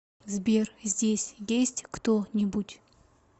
сбер здесь есть кто нибудь